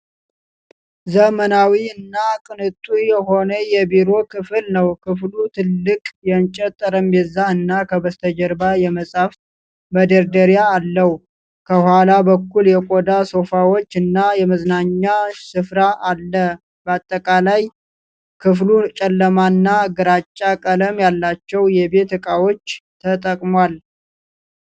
ዘመናዊ እና ቅንጡ የሆነ የቢሮ ክፍል ነው ። ክፍሉ ትልቅ የእንጨት ጠረጴዛ እና ከበስተጀርባ የመጻሕፍት መደርደሪያ አለው ። ከኋላ በኩል የቆዳ ሶፋዎች እና የመዝናኛ ስፍራ አለ። በአጠቃላይ፣ ክፍሉ ጨለማና ግራጫ ቀለም ያላቸውን የቤት ዕቃዎች ተጠቅሟል።